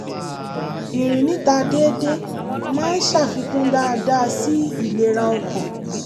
ìrìn níta dédé máa ń ṣàfikún dááda sí ìlera ọkàn